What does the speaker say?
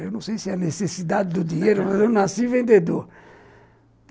Eu não sei se é necessidade do dinheiro, mas eu nasci vendedor.